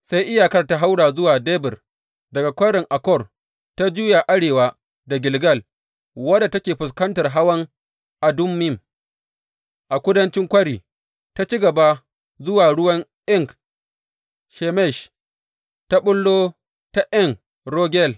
Sai iyakar ta haura zuwa Debir daga Kwarin Akor ta juya arewa da Gilgal, wadda take fuskantar hawan Adummim a kudancin kwari, ta ci gaba zuwa ruwan En Shemesh, ta ɓullo ta En Rogel.